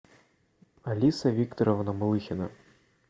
алиса викторовна малыхина